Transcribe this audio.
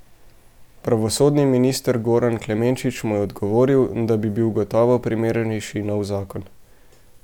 Pravosodni minister Goran Klemenčič mu je odgovoril, da bi bil gotovo primernejši nov zakon.